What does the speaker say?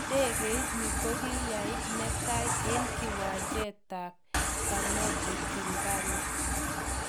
Idegeit ni kokiyaib netai eng kiwanjet tab kanobe kigali.